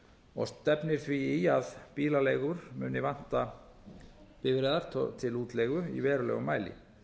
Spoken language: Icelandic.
og stefnir því í að bílaleigur muni vanta bifreiðar til útleigu í verulegum mæli